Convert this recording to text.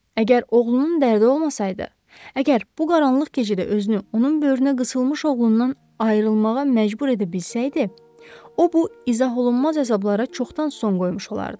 Əgər oğlunun dərdi olmasaydı, əgər bu qaranlıq gecədə özünü onun böyrünə qısılmış oğlundan ayrılmağa məcbur edə bilsəydi, o bu izaholunmaz əzablara çoxdan son qoymuş olardı.